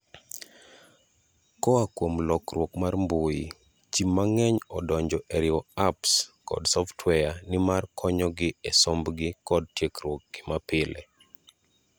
Koa kuom luorruok mar mbui, ji mang'eny odonjo e riwo apps kod software nmar konyo gi e sombgi kod tiegruokgi mapile.